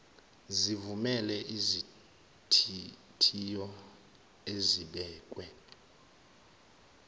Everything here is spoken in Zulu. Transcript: sivumele izithiyo ezibekwe